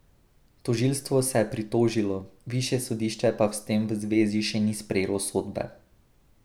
Tožilstvo se je pritožilo, višje sodišče pa s tem v zvezi še ni sprejelo sodbe.